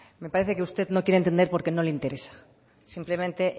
me parece que usted no quiere entender porque no le interesa simplemente